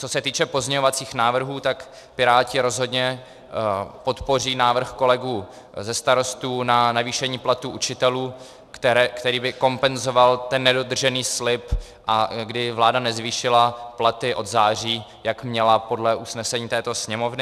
Co se týče pozměňovacích návrhů, tak Piráti rozhodně podpoří návrh kolegů ze Starostů na navýšení platů učitelů, který by kompenzoval ten nedodržený slib, kdy vláda nezvýšila platy od září, jak měla podle usnesení této Sněmovny.